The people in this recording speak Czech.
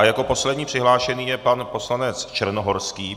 A jako poslední přihlášený je pan poslanec Černohorský.